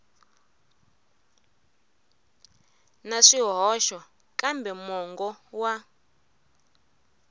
na swihoxo kambe mongo wa